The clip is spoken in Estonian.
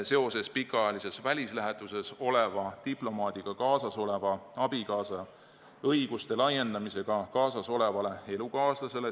See puudutas pikaajalises välislähetuses oleva diplomaadiga kaasas oleva abikaasa õiguste laiendamist diplomaadiga kaasas olevale elukaaslasele.